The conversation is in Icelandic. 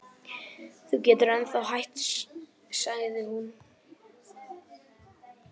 Þú getur ennþá hætt sagði hún.